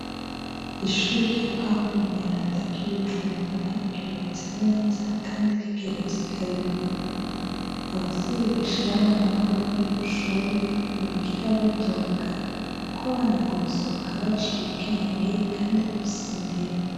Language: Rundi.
Ishure rya Pawuro mweranda ry'i Bujumbura ryubatse neza kandi rigeretse kabiri, abavyeyi bashira abana babo kw'iryo shuri ntibigera bidoka kuko abana ngo basohoka baciye ubwenge kandi bafise indero.